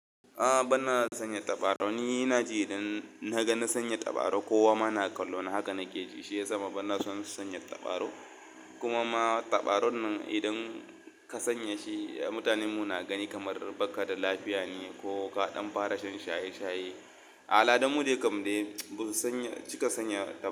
A bana sanya tabarau, ni na ji idan na gani sanya tabarau, kowa ma na kallo, haka nake ji, shi ya sa bana son sanya tabarau. Kuma ma tabarau nan idan ka sanya shi, mutanen mu na gani kamar baka da lafiya ne ko ka ɗan fara shan shaye-shaye. Aladan mu dai kam dai ba su sanya, cika sanya tabarau.